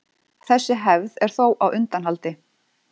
Þessi hefð er þó á undanhaldi.